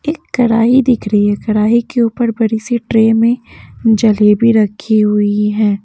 एक कड़ाही दिख रही है कड़ाही के ऊपर बड़ी सी ट्रे में जलेबी रखी हुई है।